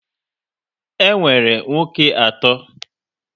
E nwere nwa oké atọ